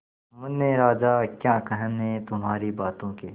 मुन्ने राजा क्या कहने तुम्हारी बातों के